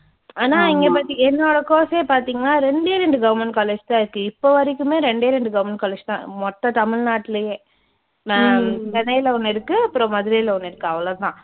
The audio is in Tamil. ஆனா இங்க பார்த்தீ என்னோட course ஏ பார்த்தீங்கன்னா ரெண்டே ரெண்டு government college தான் இருக்கு இப்பவரைக்குமே ரெண்டே ரெண்டு government college தான் மொத்த தமிழ்நாட்டுலயே சென்னைல ஒன்னு இருக்கு அப்புறம் மதுரைல ஒன்னு இருக்கு அவ்ளோதான்.